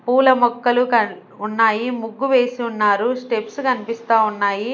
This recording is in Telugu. పూల మొక్కలు కన్-- ఉన్నాయి ముగ్గు వేసి ఉన్నారు స్టెప్స్ కనిపిస్తా ఉన్నాయి.